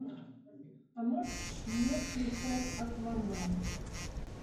а можешь не включать аквамен